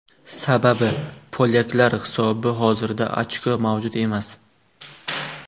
Sababi polyaklar hisobi hozirda ochko mavjud emas.